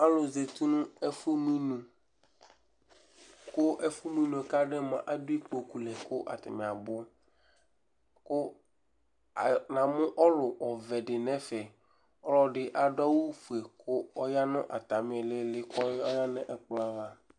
Alʋ zati nʋ ɛfʋmʋ inu kʋ ɛfʋmʋ inu yɛ kʋ adʋ yɛ mʋa, adʋ ikpoku lɛ kʋ atanɩ abʋ kʋ ayɔ namʋ ɔlʋ ɔvɛ dɩ nʋ ɛfɛ Ɔlɔdɩ adʋ awʋfue kʋ ɔya nʋ atamɩ ɩɩlɩ ɩɩlɩ kʋ ɔya nʋ ɛkplɔ ava